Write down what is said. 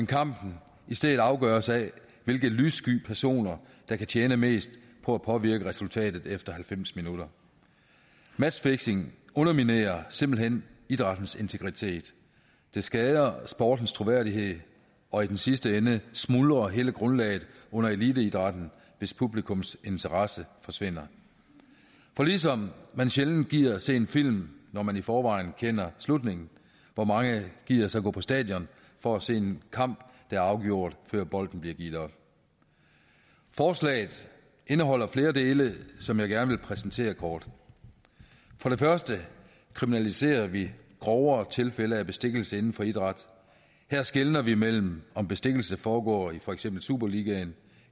kampen i stedet afgøres af hvilke lyssky personer der kan tjene mest på at påvirke resultatet efter halvfems minutter matchfixing underminerer simpelt hen idrættens integritet det skader sportens troværdighed og i den sidste ende smuldrer hele grundlaget under eliteidrætten hvis publikums interesse forsvinder for ligesom man sjældent gider se en film når man i forvejen kender slutningen hvor mange gider så gå på stadion for at se en kamp der er afgjort før bolden bliver givet op forslaget indeholder flere dele som jeg gerne vil præsentere kort for det første kriminaliserer vi grovere tilfælde af bestikkelse inden for idræt her skelner vi mellem om bestikkelse foregår i for eksempel superligaen